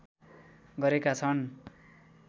गरेका छन्